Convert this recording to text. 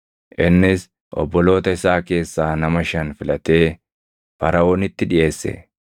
Innis obboloota isaa keessaa nama shan filatee Faraʼoonitti dhiʼeesse.